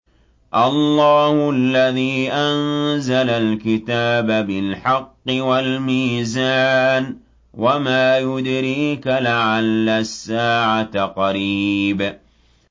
اللَّهُ الَّذِي أَنزَلَ الْكِتَابَ بِالْحَقِّ وَالْمِيزَانَ ۗ وَمَا يُدْرِيكَ لَعَلَّ السَّاعَةَ قَرِيبٌ